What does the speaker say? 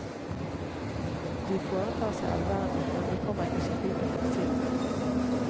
De foretar seg allverden, men vi kommer ikke skikkelig på innsiden av dem.